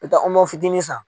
N mɛ taa fitini san.